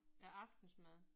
Ja aftensmad